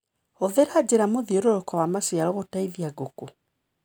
Hũthĩra njĩra mũthiũrũrũko wa maciaro gũteithia ngũkũ.